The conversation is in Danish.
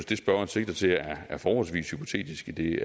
det spørgeren sigter til er forholdsvis hypotetisk idet